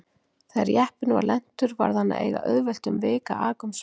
Þegar jeppinn var lentur varð hann að eiga auðvelt um vik að aka um svæðið.